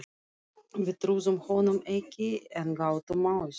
Við trúðum honum ekki en gátum auð